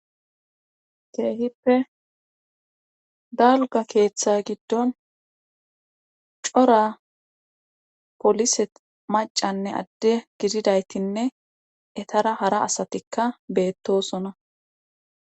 keehippe dalga keeththa giddon cora polise macanne adde gididaytinne etara hara asatikka beettosona